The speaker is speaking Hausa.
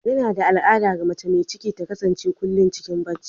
Yana da al'ada ga mace mai ciki ta kasance kullum cikin barci.